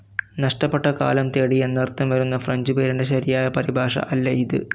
നഷ്ടപ്പെട്ട കാലം തേടി എന്നർത്ഥം വരുന്ന ഫ്രഞ്ച്‌ പേരിന്റെ ശരിയായ പരിഭാഷ അല്ല ഇത്.